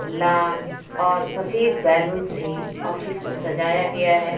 लाल और सफेद बेलून से ऑफिस को सजाया गया है.